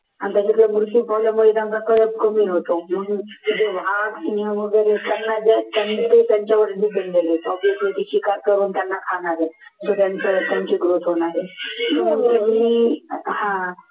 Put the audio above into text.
कमी होतो मग obviously शिकार करून त्यांना खाणार आहेत त्यांच्यावर